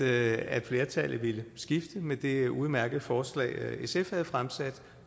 at flertallet ville skifte med det udmærkede forslag sf har fremsat